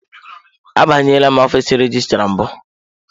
Abanyela ọfiisi rejistra mbụ.